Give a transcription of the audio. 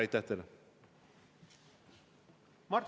Aitäh teile!